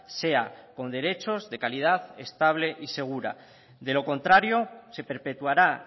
sea con derechos de calidad estable y segura de lo contrario se perpetuará